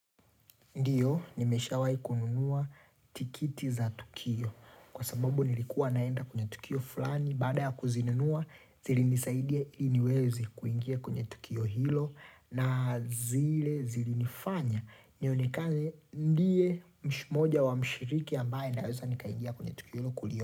Ndiyo, nimeshawai kununua tikiti za tukio. Kwa sababu nilikuwa naenda kwenye tukio fulani. Baada ya kuzinunua, zilinisaidia ili niweze kuingia kwenye tukio hilo. Na zile zilinifanya. Nionekane ndiye mmoja wa mshiriki ambaye naweza nikaingia kwenye tukio hilo kulio.